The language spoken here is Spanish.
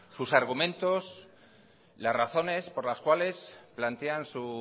sus argumentos las razones por las cuales plantean su